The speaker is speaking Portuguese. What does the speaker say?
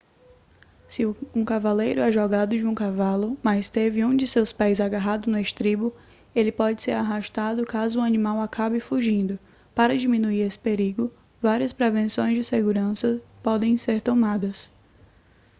se um cavaleiro é jogado de um cavalo mas teve um de seus pés agarrado no estribo ele pode ser arrastado caso o animal acabe fugindo para diminuir esse perigo várias prevenções de segurança podem ser tomadas